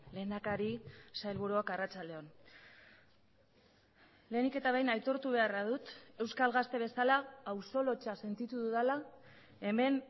lehendakari sailburuak arratsalde on lehenik eta behin aitortu beharra dut euskal gazte bezala auzo lotsa sentitu dudala hemen